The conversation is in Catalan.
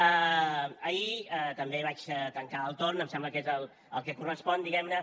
ahir també vaig tancar el torn em sembla que és el que correspon diguem ne